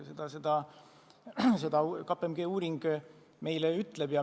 Seda ütleb meile KPMG uuring.